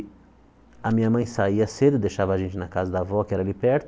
A minha mãe saía cedo, deixava a gente na casa da avó, que era ali perto,